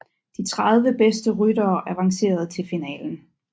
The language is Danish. De 30 bedste ryttere avancerer til finalen